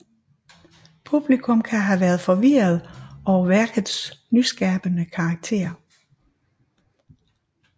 Publikum kan have været forvirret over værkets nyskabende karakter